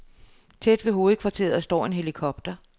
Tæt ved hovedkvarteret står en helikopter.